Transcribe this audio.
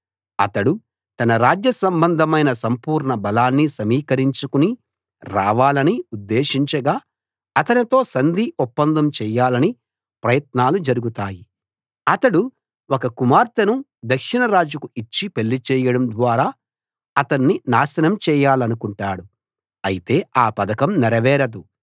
అతడు తన రాజ్య సంబంధమైన సంపూర్ణ బలాన్ని సమీకరించుకుని రావాలని ఉద్దేశించగా అతనితో సంధి ఒప్పందం చెయ్యాలని ప్రయత్నాలు జరుగుతాయి అతడు ఒక కుమార్తెను దక్షిణ రాజుకు ఇచ్చి పెళ్లి చేయడం ద్వారా అతణ్ణి నాశనం చేయాలనుకుంటాడు అయితే ఆ పథకం నెరవేరదు